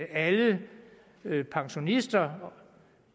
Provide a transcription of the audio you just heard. alle pensionister